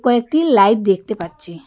কয়েকটি লাইট দেখতে পাচ্ছি।